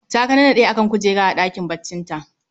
Ta kanannade a kan kujera a ɗakin baccinta